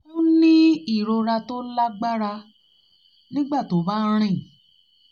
ó ń ní ìrora tó ìrora tó lágbára nígbà tó bá ń rìn